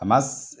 A ma